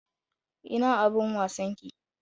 Ina abin wasan ki?